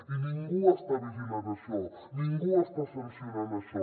i ningú està vigilant això ningú està sancionant això